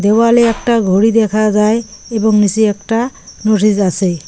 দেওয়ালে একটা ঘড়ি দেখা যায় এবং নিসে একটা নোটিস আসে ।